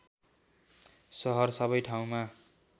सरह सबै ठाउँमा